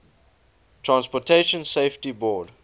transportation safety board